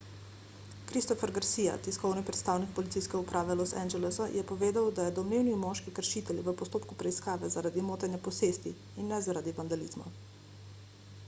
christopher garcia tiskovni predstavnik policijske uprave los angelesa je povedal da je domnevni moški kršitelj v postopku preiskave zaradi motenja posesti in ne zaradi vandalizma